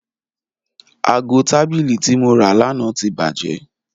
Aago tabili ti mo ra lana ti baje